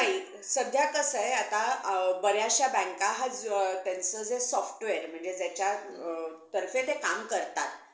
नाही सध्या कसं आहे आता बऱ्याचशा बँका त्यांचं जे software ज्याच्या तर्फे ते काम करतात.